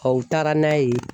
u taara n'a ye.